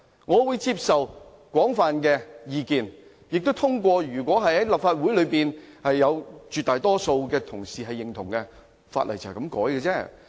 我會接受廣泛的意見，如果立法會內有絕大多數議員支持，便可以修改法例。